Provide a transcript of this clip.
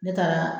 Ne taara